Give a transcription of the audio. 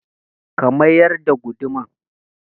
ka mayar da hamma